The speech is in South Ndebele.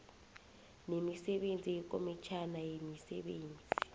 nemisebenzi yekomitjhana yemisebenzi